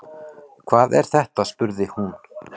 Hvað er þetta spurði hún.